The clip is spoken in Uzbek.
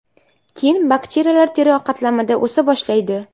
Keyin bakteriyalar teri qatlamida o‘sa boshlaydi.